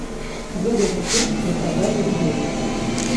выгодный курс для продажи рублей